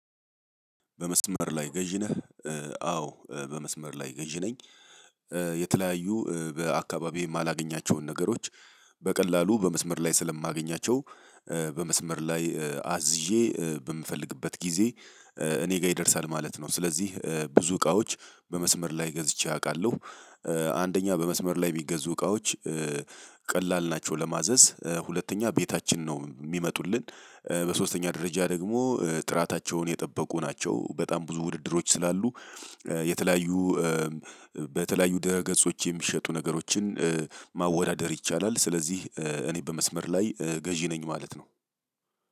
በመስመር ላይ ገዥ ነህ? አዎ በመስመር ላይ ገዥ ነኝ። የተለያዩ በአካባቢም የማላገኛቸውን ነገሮች በቀላሉ በመስመር ላይ ስለማገኛቸው። በመስመር ላይ አዝዤ በምፈልግበት ጊዜ እኔ ጋር ይደርሳል ማለት ነው። ስለዚህ ብዙ እቃዎች በመስመር ላይ ገዝቼ አውቃለሁ። አንደኛ በመስመር ላይ ምገዙ እቃዎች ቀላል ናቸው ለማዘዝ ሁለተኛ ቤታችን ነው የሚመጡልን። በሶስተኛ ደረጃ ደግሞ ጥራታቸውን የጠበቁ ናቸው በጣም ብዙ ውድድሮች ስላሉ። የተለያዩ። በተለያዩ ድረ ገጾች የሚሸጡ ነገሮችን ማወዳደር ይቻላል። ስለዚህ እኔ በመስመር ላይ ገዢ ነኝ ማለት ነው።